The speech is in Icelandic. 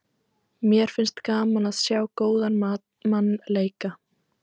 Mér finnst gaman að sjá góðan mann leika.